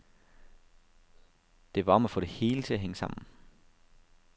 Det var om at få det hele til at hænge sammen.